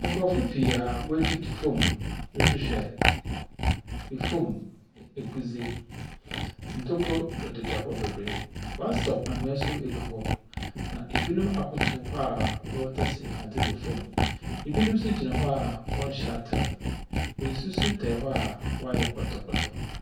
Nkurɔfo pii a woetutu fam rehwehwɛ fam egudze. Ntokuro dedadeda hɔ bebree. Wɔasaw ahwea nso agu hɔ, na ebinom akotow hɔ a wɔretase adze wɔ fam. Ebinom nso gyina hɔ a wɔnhyɛ atar. Nsu so tae hɔ a wɔayɛ pɔtɔpɔtɔ.